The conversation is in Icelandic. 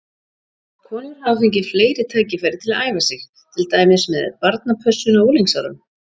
Konur hafa fengið fleiri tækifæri til að æfa sig, til dæmis með barnapössun á unglingsárum.